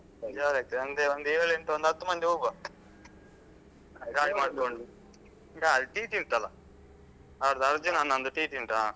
Jolly ಆಗ್ತದೆ ಅಂದ್ರೆ ಒಂದು ಏಳೆಂಟು ಒಂದು ಹತ್ತು ಮಂದಿ ಹೋಗುವ Enjoy ಮಾಡ್ಕೊಂಡು ಗಾಡಿ TT ಉಂಟಲ್ಲಾ ಅವರ್ದು ಅರ್ಜುನ ನಂದು TT ಹ.